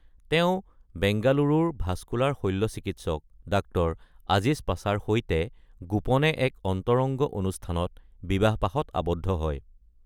তেওঁঁ বেংগালুৰুৰ ভাছকুলাৰ শল্যচিকিৎসক ডাঃ আজিজ পাছাৰ সৈতে গোপনে এক অন্তৰংগ অনুষ্ঠানত বিবাহপাশত আবদ্ধ হয়।